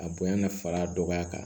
A bonya ka far'a dɔgɔya kan